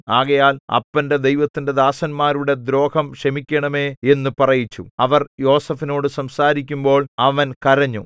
ആകയാൽ അപ്പന്റെ ദൈവത്തിന്റെ ദാസന്മാരുടെ ദ്രോഹം ക്ഷമിക്കണമേ എന്നു പറയിച്ചു അവർ യോസേഫിനോടു സംസാരിക്കുമ്പോൾ അവൻ കരഞ്ഞു